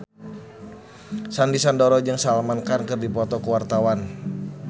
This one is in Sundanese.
Sandy Sandoro jeung Salman Khan keur dipoto ku wartawan